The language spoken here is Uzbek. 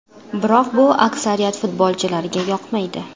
Biroq bu aksariyat futbolchilarga yoqmaydi.